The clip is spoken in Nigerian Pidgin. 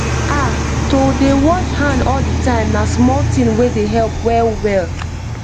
ah to dey wash hand all the time na small thing wey dey help well well